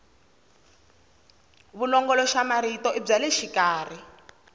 vulongoloxamarito i bya le xikarhi